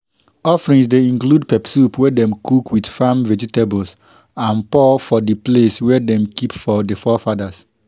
offerings dey include pepper soup wey dem cook with farm vegetables and pour for di place way dem keep for di forefathers